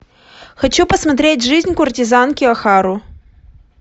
хочу посмотреть жизнь куртизанки охару